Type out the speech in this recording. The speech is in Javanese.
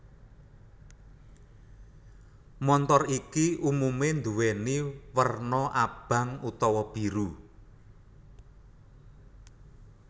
Montor iki umume nduweni werna abang utawa biru